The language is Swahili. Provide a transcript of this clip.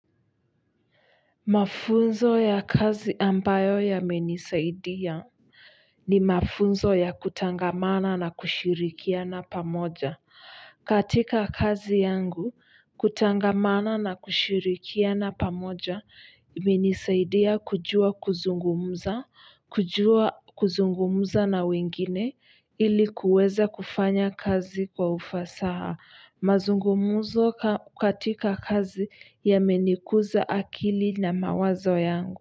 Mafunzo ya kazi ambayo yamenisaidia ni mafunzo ya kutangamana na kushirikiana pamoja. Katika kazi yangu, kutangamana na kushirikiana pamoja, imenisaidia kujua kuzungumza, kujua kuzungumza na wengine ili kuweza kufanya kazi kwa ufasaha mazungumzo katika kazi yamenikuza akili na mawazo yangu.